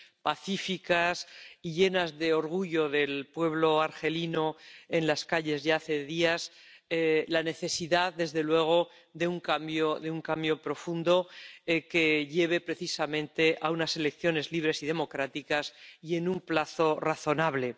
pacíficas y llenas de orgullo del pueblo argelino, en las calles desde hace días, y reconocemos la necesidad, desde luego, de un cambio profundo que lleve precisamente a unas elecciones libres y democráticas en un plazo razonable.